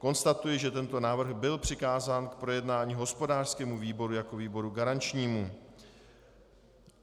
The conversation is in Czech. Konstatuji, že tento návrh byl přikázán k projednání hospodářskému výboru jako výboru garančnímu.